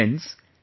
Friends,